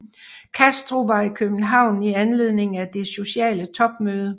Castro var i København i anledning af det sociale topmøde